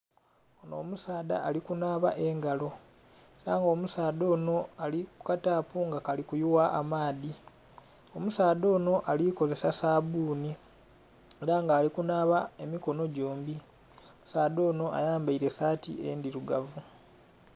Onho omusaadha ali kunaaba engalo. Ghaba omusaadha onho ali ku ka taapu nga kali kuyuwa amaadhi. Omusaadha onho ali kozesa sabuuni. Ela nga ali kunaaba emikono gyombi. Omusaadha onho ayambaile saati endhilugavu.